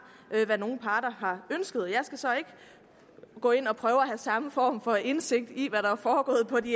hvad nogen parter har ønsket jeg skal så ikke gå ind og prøve at have samme form for indsigt i hvad der er foregået på de